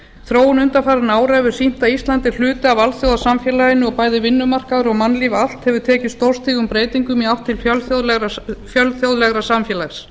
þróun undanfarinna ára hefur sýnt að ísland er hluti af alþjóðasamfélaginu og bæði vinnumarkaður og mannlíf allt hefur tekið stórstígum breytingum í átt til fjölþjóðlegra samfélags